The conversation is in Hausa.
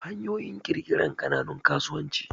hanyoyin kirkirar kananun kasuwanci